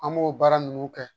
An b'o baara ninnu kɛ